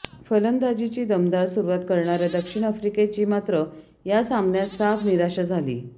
फलंदाजीची दमदार सुरुवात करणाऱ्या दक्षिण आफ्रिकेची मात्र या सामन्यात साफ निराशा झाली